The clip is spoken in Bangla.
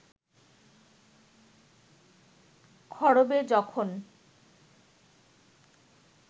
ক্ষরবে যখন